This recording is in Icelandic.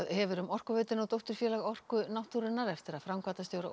hefur um Orkuveituna og dótturfélagið Orku náttúrunnar eftir að framkvæmdastjóra